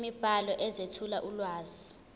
imibhalo ezethula ulwazi